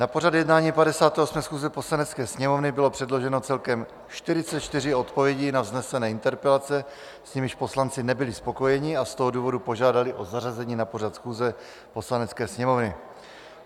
Na pořad jednání 58. schůze Poslanecké sněmovny bylo předloženo celkem 44 odpovědí na vznesené interpelace, s nimiž poslanci nebyli spokojeni, a z toho důvodu požádali o zařazení na pořad schůze Poslanecké sněmovny.